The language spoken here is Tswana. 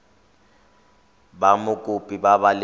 ba mokopi ba ba leng